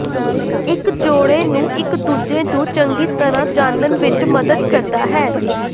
ਇਕ ਜੋੜੇ ਨੂੰ ਇਕ ਦੂਜੇ ਨੂੰ ਚੰਗੀ ਤਰ੍ਹਾਂ ਜਾਣਨ ਵਿਚ ਮਦਦ ਕਰਦਾ ਹੈ